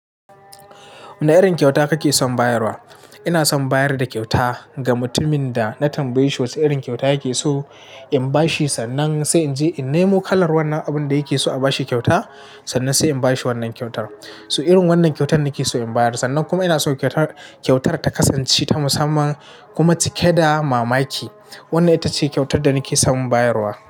Wane irin kyauta kake son bayarwa? Ina son bayar da kyauta ga mutumin da na tambaye shi wace irin kyauta yake so in bashi sannan sai in je in nemo kalar wannan abun da yake so a bashi kyauta sannan sai in bashi wannan kyautar. So irin wannan kyautar nake so in bayar. Sannan kuma ina so kyautar ta kasance ta musamman kuma cike da mamaki. Wannan ita ce kyautar da nake son in bayar.